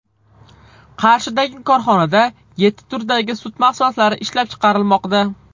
Qarshidagi korxonada yetti turdagi sut mahsulotlari ishlab chiqarilmoqda.